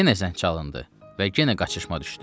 Yenə zəng çalındı və yenə qaçışma düşdü.